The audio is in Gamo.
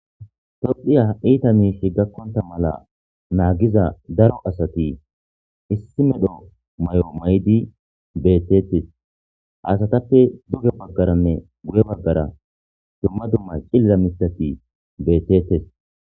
tophiya iita miishi gakkonta mala naagiza daro asati issi medho may7o may7di bettetes asatappe duge baggaranne guye baggara dumma dumma cillira misati beettettes